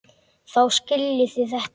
Þá skiljið þið þetta.